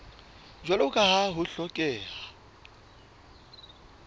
jwalo ka ha ho hlokeha